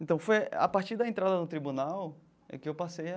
Então foi a partir da entrada no tribunal é que eu passei a...